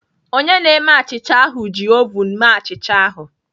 Onye na-eme achịcha ahụ ji ovun mee achịcha ahụ.